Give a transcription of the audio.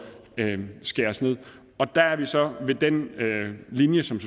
skæres ned der er vi så ved den linje som